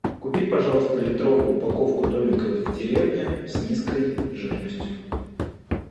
купи пожалуйста литровую упаковку домика в деревне с низкой жирностью